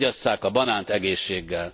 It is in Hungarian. Fogyasszák a banánt egészséggel.